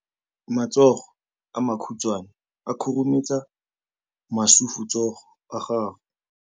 Matsogo a makhutshwane a khurumetsa masufutsogo a gago.